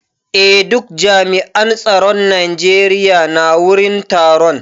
Eh duka jami'an tsaron Najeriya na wurin taron.